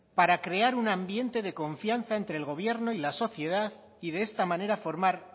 para crear un ambiente de confianza entre el gobierno y la sociedad y de esta manera formar